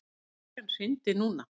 Ef bryggjan hryndi núna.